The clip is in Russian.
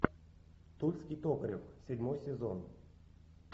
тульский токарев седьмой сезон